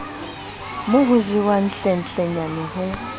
mo ho jewang hlenhlenyane ho